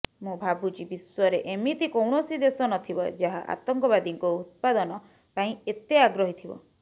ମୁଁ ଭାବୁଛି ବିଶ୍ୱରେ ଏମିତି କୌଣସି ଦେଶ ନଥିବ ଯାହା ଆତଙ୍କବାଦୀଙ୍କ ଉତ୍ପାଦନ ପାଇଁ ଏତେ ଆଗ୍ରହୀ ଥିବ